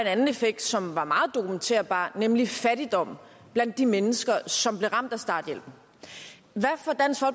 anden effekt som var meget dokumenterbar nemlig fattigdom blandt de mennesker som blev ramt af starthjælpen